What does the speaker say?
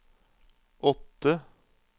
åtte